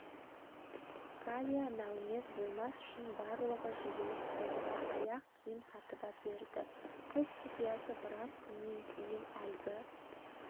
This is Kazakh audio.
галя нәумез болмас үшін барлығы жиылып сомға аяқ киім сатып әперді қыз құпиясы біраз күннен кейін әлгі